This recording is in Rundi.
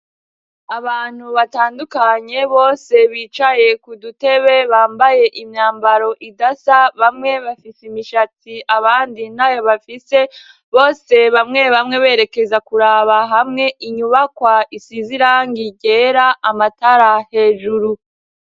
Abantu batandukanye bose bicaye ku dutebe bambaye imyambaro idasa bamwe bafise imishati abandi ntayo bafise, bose bamwe bamwe berekeza kuraba hamwe inyubakwa isize irangi ryera amatara hejuru.